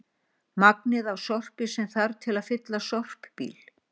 Magnið af sorpi sem þarf til að fylla sorpbíl.